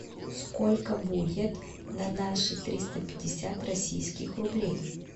сколько будет на наши триста пятьдесят российских рублей